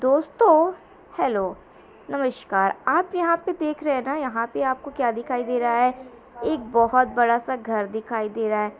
दोस्तों हेलो नमस्कार आप यहाॅं पर देख रहे हैं यहाॅं पर आपको क्या दिखाई दे रहा है ? एक बड़ा सा घर दिखाई दे रहा है।